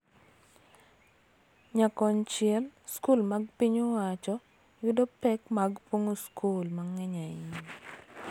Nyakonchiel, skul mag piny owacho yudo pek mag pong�o skul mang�eny ahinya,